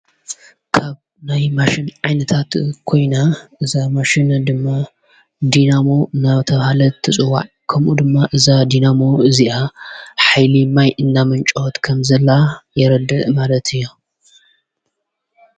ካብ ናይ ማሽን ዓይንታት ኮይና እዛ ማሽን ድማ ዲናሞ ናብ ተብሃለት እትጽዋዕ ከምኡ ድማ እዛ ዲናሞ እዚኣ ኃይልማይ እናመንጮወት ከምዘላ የረድ ማለት እዮ።